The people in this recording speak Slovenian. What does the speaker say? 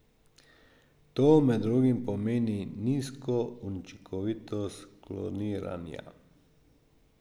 To med drugim pomeni nizko učinkovitost kloniranja.